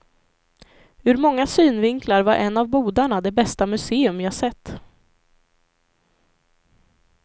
Ur många synvinklar var en av bodarna det bästa museum jag sett.